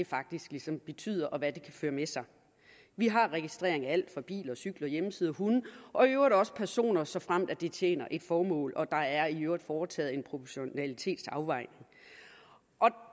faktisk ligesom betyder og hvad den kan føre med sig vi har en registrering af alt fra biler til cykler hjemmesider hunde og i øvrigt også personer såfremt det tjener et formål og der i øvrigt er foretaget en proportionalitetsafvejning